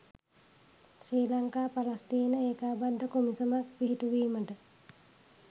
ශ්‍රී Lanka Palestine ඒකාබද්ධ කොමිසමක් පිහිටුවීමට